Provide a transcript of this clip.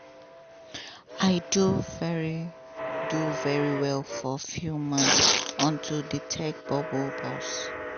i do very do very well for few months until di tech bubble burst